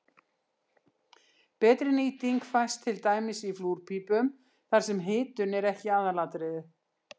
Betri nýting fæst til dæmis í flúrpípum þar sem hitun er ekki aðalatriðið.